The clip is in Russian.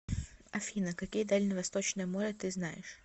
афина какие дальневосточное море ты знаешь